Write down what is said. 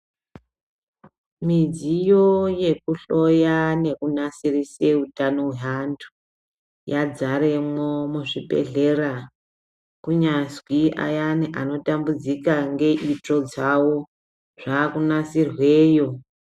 Midziyo yekuhloya nekunasirise utano hwavantu yazaremwo muzvibhedhlera kunyazwi ayani anotambudzika neitsvo dzavo dzave kunasirweyo.